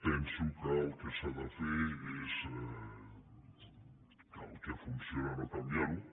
penso que el que s’ha de fer és que el que funciona no canviar ho